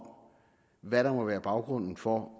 hvad der må være baggrunden for